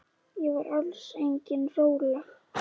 Ég var alls engin rola.